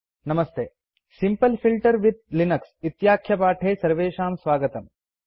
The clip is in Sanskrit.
नमस्ते सिम्पल फिल्टर्स् विथ लिनक्स इत्याख्यपाठे सर्वेषां स्वागतम्